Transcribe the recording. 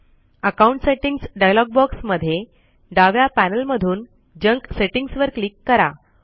account settings dialog box मध्ये डाव्या panel मधून जंक सेटिंग्ज वर क्लिक करा